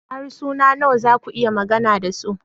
Harsuna nawa za ku iya magana da su?